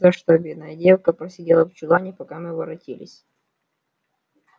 за что бедная девка просидела в чулане пока мы не воротились